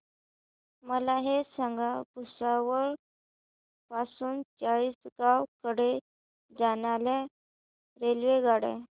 मला हे सांगा भुसावळ पासून चाळीसगाव कडे जाणार्या रेल्वेगाडी